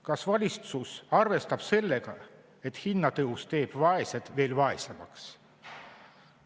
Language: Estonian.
Kas valitsus arvestab sellega, et hinnatõus teeb vaesed veel vaesemaks?